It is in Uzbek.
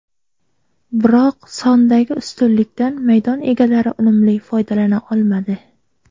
Biroq sondagi ustunlikdan maydon egalari unumli foydalana olmadi.